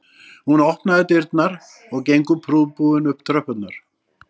Hún opnar dyrnar og gengur prúðbúin upp tröppurnar